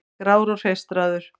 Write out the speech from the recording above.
Grár og hreistraður.